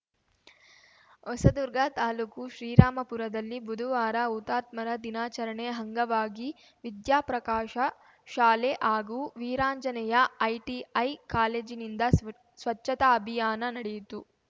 ಹೊಸದುರ್ಗ ತಾಲೂಕು ಶ್ರೀರಾಮಪುರದಲ್ಲಿ ಬುಧವಾರ ಹುತಾತ್ಮರ ದಿನಾಚರಣೆ ಅಂಗವಾಗಿ ವಿದ್ಯಾಪ್ರಕಾಶ ಶಾಲೆ ಹಾಗೂ ವೀರಾಂಜನೇಯ ಐಟಿಐ ಕಾಲೇಜಿನಿಂದ ಸ್ವ ಸ್ವಚ್ಛತಾ ಅಭಿಯಾನ ನಡೆಯಿತು